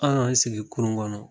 An k'an sigi kurun kɔnɔ